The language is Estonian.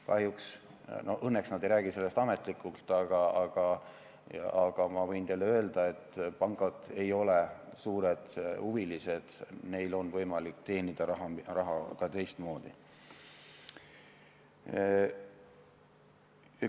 Kahjuks või õnneks nad ei räägi sellest ametlikult, aga ma võin teile öelda, et pangad ei ole suured huvilised, neil on võimalik teenida raha ka teistmoodi.